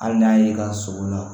Hali n'a y'i ka sogo la